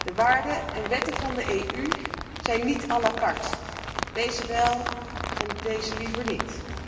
De waarden en wetten van de EU zijn niet à la carte deze wel, en deze liever niet.